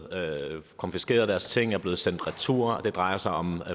konfiskeret og deres ting er blevet sendt retur og det drejer sig om